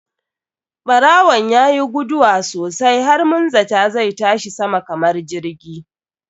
Ɓarawon yayi guduwa sosai har mun zata zai tashi sama kamar jirgi.